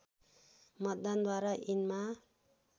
मतदानद्वारा यिनमा